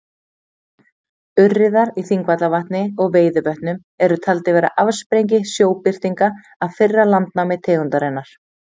Urriðar í Þingvallavatni og Veiðivötnum eru taldir vera afsprengi sjóbirtinga af fyrra landnámi tegundarinnar.